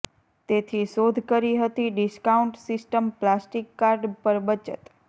તેથી શોધ કરી હતી ડિસ્કાઉન્ટ સિસ્ટમ પ્લાસ્ટિક કાર્ડ પર બચત